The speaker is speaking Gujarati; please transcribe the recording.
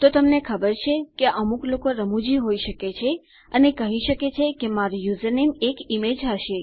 તો તમને ખબર છે કે અમુક લોકો રમૂજી હોઈ શકે છે અને કહી શકે છે કે મારું યુઝરનેમ એક ઇમેજ હશે